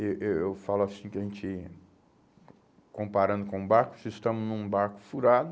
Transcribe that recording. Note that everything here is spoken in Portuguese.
Eh eh eu falo assim que a gente, comparando com um barco, se estamos num barco furado,